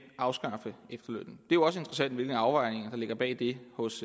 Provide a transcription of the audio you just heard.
at afskaffe efterlønnen det jo også interessant hvilken afvejning der ligger bag det hos